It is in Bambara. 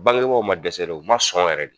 Bangebaw ma dɛsɛ dɛ, u ma sɔn wɛrɛ de.